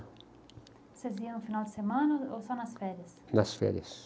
Vocês iam no final de semana ou só nas férias? Nas férias.